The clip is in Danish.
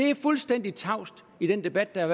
er fuldstændig tavs i den debat der